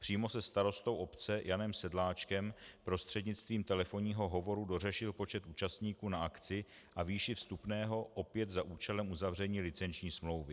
Přímo se starostou obce Janem Sedláčkem prostřednictvím telefonního hovoru dořešil počet účastníků na akci a výši vstupného opět za účelem uzavření licenční smlouvy.